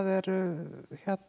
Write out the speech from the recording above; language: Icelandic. eru